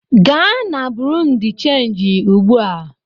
Gaa na bụrụnụ de changị ugbu a!